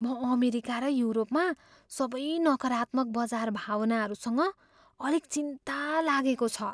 म अमेरिका र युरोपमा सबै नकारात्मक बजार भावनाहरूसँग अलिक चिन्ता लागेको छ।